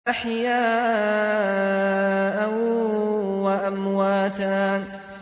أَحْيَاءً وَأَمْوَاتًا